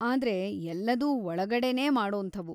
ಆದ್ರೆ ಎಲ್ಲದೂ ಒಳಗಡೆನೇ ಮಾಡೋಂಥವು.